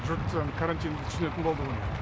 жұрт карантинді түсінетін болды ғой